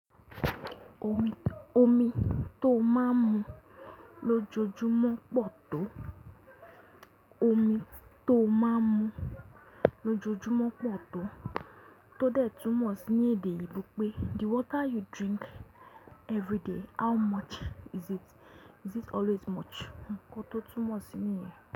Omi tó máa ń mu lójoojúmọ́ pọ̀ tó. Omi tó máa ń mu lójoojúmọ́ pọ̀ tó. Tódẹ̀ túmọ̀ sí ní èdè ìlú pé the water you drink everyday how much is it? Is it always much? Kọ́ tó túmọ̀ sí níyẹn.